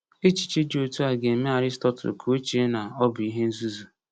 Echiche dị otu a ga-eme Aristotle ka o chee na ọ bụ ihe nzuzu.